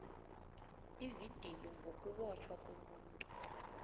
ividiyo ngokubotjhwa komuntu